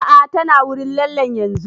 A'a ta na wurin lallen yanzun